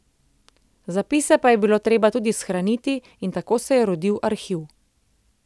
Zapise pa je bilo treba tudi shraniti in tako se je rodil arhiv.